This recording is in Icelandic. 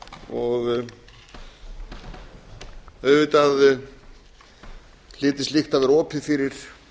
og auðvitað hlyti slíkt að vera opið fyrir